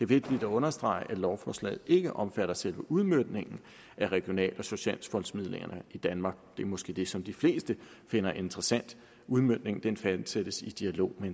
vigtigt at understrege at lovforslaget ikke omfatter selve udmøntningen af regional og socialfondsmidlerne i danmark det er måske det som de fleste finder interessant udmøntningen fastsættes i dialog med